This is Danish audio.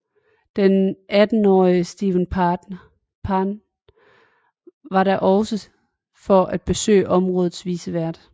Den attenårige Steven Parent var der også for at besøge områdets vicevært